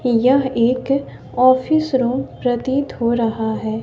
यह एक office room प्रतीत हो रहा है।